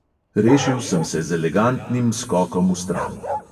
Rešil sem se z elegantnim skokom vstran.